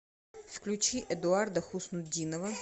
включи эдуарда хуснутдинова